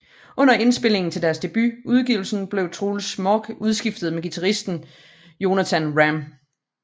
Under indspilningerne til deres debut udgivelse blev Truls Mörck udskiftet med guitaristen Jonatan Ramm